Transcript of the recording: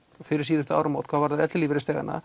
fyrir síðustu áramót hvað varðar ellilífeyrisþegana